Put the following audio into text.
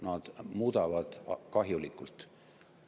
Nad muudavad kahjulikult.